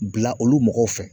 Bila olu mɔgɔw fɛ